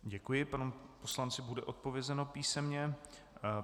Děkuji, panu poslanci bude odpovězeno písemně.